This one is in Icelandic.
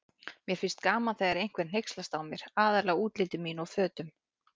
Mér fannst gaman þegar einhver hneykslaðist á mér, aðallega útliti mínu og fötum.